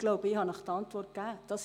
Ich habe Ihnen die Antwort gegeben: